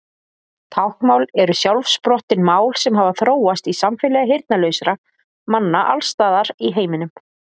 Táknmál eru sjálfsprottin mál sem hafa þróast í samfélagi heyrnarlausra manna alls staðar í heiminum.